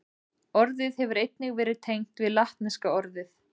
Orðið hefur einnig verið tengt við latneska orðið